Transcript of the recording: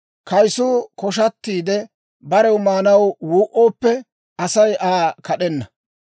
Kayisuu koshatiide, barew maanaw wuu"ooppe, Asay Aa kad'enna.